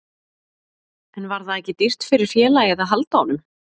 En var það ekki dýrt fyrir félagið að halda honum?